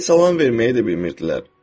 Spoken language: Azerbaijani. Heç salam verməyi də bilmirdilər.